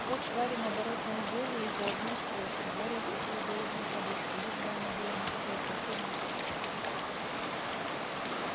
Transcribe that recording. вот сварим оборотное зелье и заодно спросим гарри опустил голову на подушку лишь бы оно было не такое противное как эта гадость